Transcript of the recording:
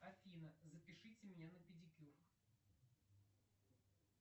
афина запишите меня на педикюр